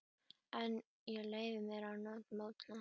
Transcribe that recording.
En ég leyfi mér að mótmæla þessu.